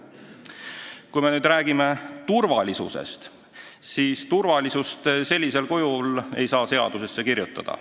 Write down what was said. Kui me räägime turvalisusest, siis turvalisust kui niisugust ei saa seadusesse kirjutada.